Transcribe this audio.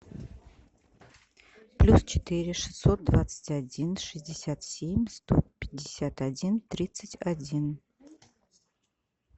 плюс четыре шестьсот двадцать один шестьдесят семь сто пятьдесят один тридцать один